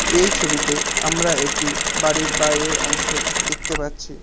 এই ছবিতে আমরা একটি বাড়ির বাইরের অংশ দেখতে পাচ্ছি।